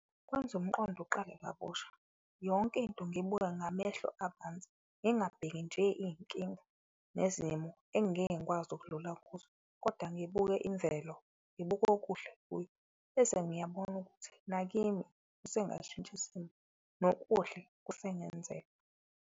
Kwenza umqondo uqale kabusha yonke into ngiyibuke ngamehlo abanzi, ngingabheki nje iyinkinga nezimo engeke ngikwazi ukudlula kuzo, koda ngibuke imvelo ngibuke okuhle kuyo. Bese ngiyabona ukuthi nakimi usengashintsha simo nokuhle kusengenzeka.